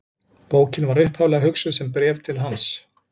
Bókin var upphaflega hugsuð sem bréf til hans.